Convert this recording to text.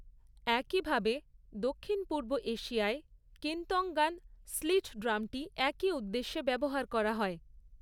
একইভাবে দক্ষিণ পূর্ব এশিয়ায়, কেন্তঙ্গান স্লিট ড্রামটি একই উদ্দেশ্যে ব্যবহার করা হয়।